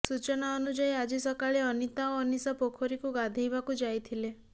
ସୂଚନା ଅନୁଯାୟୀ ଆଜି ସକାଳେ ଅନିତା ଓ ଅନିଶା ପୋଖରୀକୁ ଗାଧେଇବାକୁ ଯାଇଥିଲେ